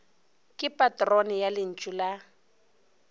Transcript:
ke patrone ya lentšu la